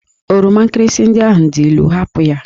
Oroma nkirịsị ndị ahụ dị ilu! hapụ ha!